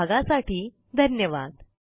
सहभागासाठी धन्यवाद